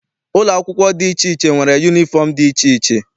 Ụlọ akwụkwọ dị iche iche nwere yunifọm dị iche iche.